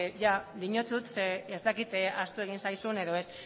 diotsut zeren eta ez dakit ahaztu egin zaizun edo ez